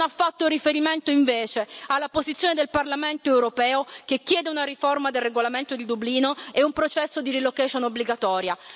Non ha fatto riferimento invece alla posizione del Parlamento europeo che chiede una riforma del regolamento di Dublino e un processo di relocation obbligatoria.